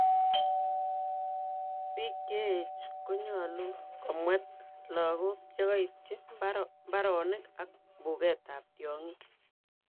Biik cheech konyolu komwet logok chekoityi mbaronik ak mbungeet ab tiongik